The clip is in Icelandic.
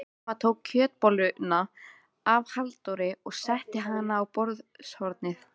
Amma tók kjötbolluna af Halldóri og setti hana á borðshornið.